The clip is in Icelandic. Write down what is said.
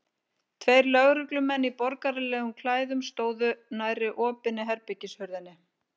Tveir lögreglumenn í borgaralegum klæðum stóðu nærri opinni herbergishurðinni.